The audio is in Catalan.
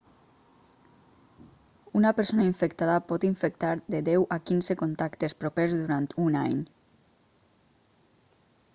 una persona infectada pot infectar de 10 a 15 contactes propers durant un any